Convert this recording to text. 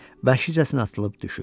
Vəhşicəsinə atılıb düşür.